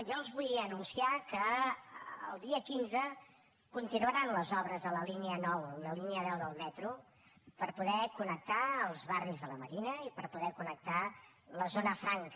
jo els vull anunciar que el dia quinze continuaran les obres a la línia nou la línia deu del metro per poder connectar els barris de la marina i per poder connectar la zona franca